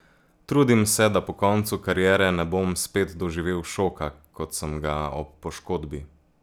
Trudim se, da po koncu kariere ne bom spet doživel šoka, kot sem ga ob poškodbi.